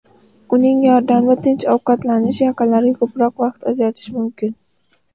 Uning yordamida tinch ovqatlanish, yaqinlarga ko‘proq vaqt ajratish mumkin.